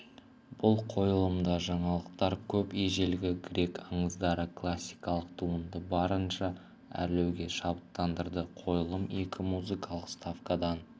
бұл қойылымда жаңалықтар көп ежелгі грек аңыздары классикалық туындыны барынша әрлеуге шабыттандырды қойылым екі музыкалық ставкадан